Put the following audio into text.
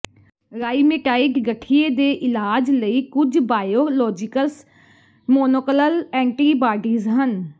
rheumatoid ਗਠੀਏ ਦੇ ਇਲਾਜ ਲਈ ਕੁਝ ਬਾਇਓਲੋਜੀਕਸ ਮੋਨੋਕੋਲਲ ਐਂਟੀਬਾਡੀਜ਼ ਹਨ